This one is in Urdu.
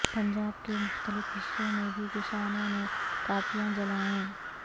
پنجاب کے مختلف حصوں میں بھی کسانوں نے کاپیاں جلائیں